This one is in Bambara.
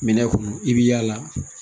Minɛn kɔnɔ i bɛ yaala